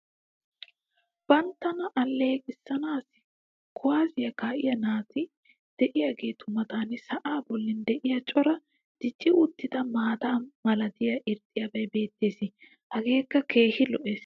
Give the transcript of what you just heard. banttana aleeqanaassi kuwaassiya kaa'iya naati diyaageetu matan sa"aa boli diya cora dicci uttida maata malattiya irxxabay beetees. hageekka keehi lo'ees.